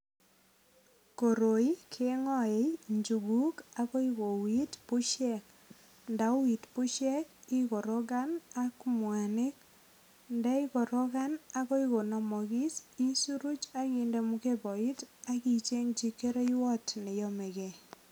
Koroi kengoe injuguk agoi koigeit busiek. Ndauit busyek ikorogan ak mwanik. Ndaikorokan agoi konamagis isoroch ak inde mukeboit ak ichengchi kereiwot ne nomekei.